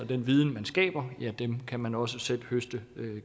den viden man skaber kan man også selv høste